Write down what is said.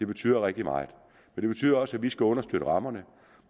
betyder rigtig meget det betyder også at vi skal understøtte rammerne